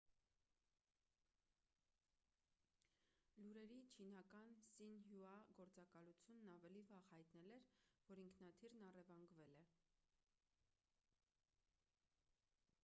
լուրերի չինական սինհյուա գործակալությունն ավելի վաղ հայտնել էր որ ինքնաթիռն առևանգվել է